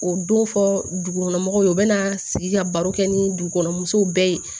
O don fɔ dugukɔnɔmɔgɔw u bɛna sigi ka baro kɛ ni dugukɔnɔ muso bɛɛ ye